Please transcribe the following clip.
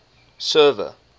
server